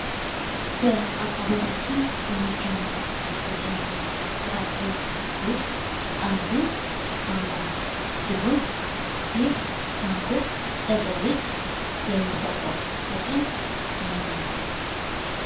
በአካባቢያችን ከሚገኙ አትክልትና ፍራፍሬ ዉስጥ አንዱ ማንጎ ሲሆን ይህ ማንጎ ለሰው ልጅ የሚሰጠው ጥቅም ምንድን ነው?